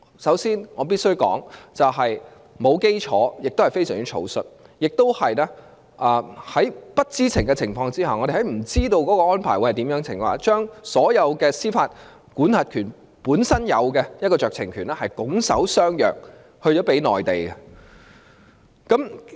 首先，我必須指出，這種做法沒有基礎，亦非常草率，我們亦在不知情的情況下，將所有香港作為獨立司法管轄區本身所擁有的酌情權，拱手相讓給內地。